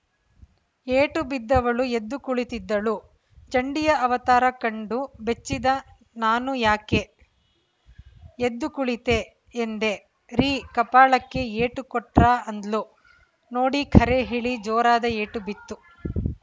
ಏಟು ಬಿದ್ದವಳು ಎದ್ದು ಕುಳಿತಿದ್ದಳು ಚಂಡಿಯ ಅವತಾರ ಕಂಡು ಬೆಚ್ಚಿದ ನಾನು ಯಾಕೆ ಎದ್ದು ಕುಳಿತೆ ಎಂದೆ ರೀ ಕಪಾಳಕ್ಕೆ ಏಟು ಕೊಟ್ರಾ ಅಂದ್ಲು ನೋಡಿ ಖರೆ ಹೇಳಿ ಜೋರಾದ ಏಟು ಬಿತ್ತು